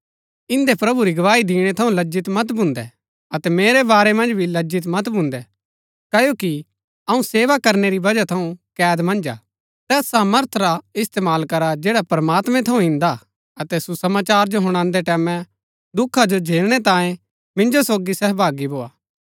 इन्दै प्रभु री गवाई दिणै थऊँ लज्जित मत भून्दै अतै मेरै बारै मन्ज भी लज्जित मत भून्दै क्ओकि अऊँ सेवा करनै री वजह थऊँ कैद मन्ज हा तैस सामर्थ रा इस्तेमाल करा जैड़ा प्रमात्मैं थऊँ इन्दा हा अतै सुसमाचार जो हुणादै टैमैं दुखा जो झेलनै तांये मिन्जो सोगी सहभागी भोआ